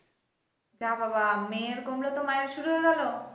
যা বাবা মেয়ের কমলো তো মায়ের শুরু হয়ে গেলো